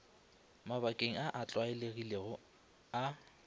mabakeng a a tlwaelegilego a